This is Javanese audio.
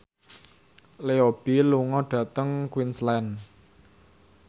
Leo Bill lunga dhateng Queensland